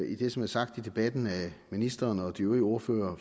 i det som er sagt i debatten af ministeren og de øvrige ordførere